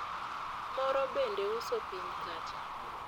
moro bende uso piny kacha